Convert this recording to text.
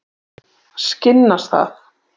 Skinnastað